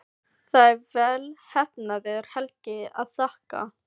Það er vel heppnaðri helgi að þakka.